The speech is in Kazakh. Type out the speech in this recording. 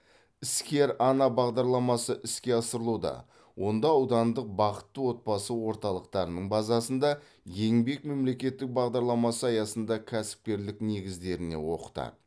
іскер ана бағдарламасы іске асырылуда онда аудандық бақытты отбасы орталықтарының базасында еңбек мемлекеттік бағдарламасы аясында кәсіпкерлік негіздеріне оқытады